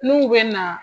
N'u bɛ na